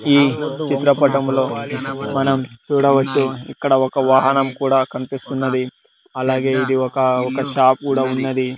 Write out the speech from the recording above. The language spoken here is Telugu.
ఈ చిత్రపటములో మనం చూడవచ్చు ఇక్కడ ఒక వాహనం కూడా కన్పిస్తున్నది అలాగే ఇది వొక ఒక షాపు కూడా ఉన్నది.